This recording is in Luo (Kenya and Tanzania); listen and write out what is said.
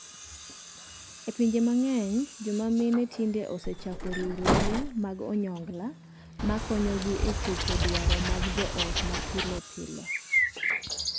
E pinje mang'eny, joma mine tinde osechako riwruoge mag onyongla ma konyogi e chopo dwaro mag joot ma pile pile.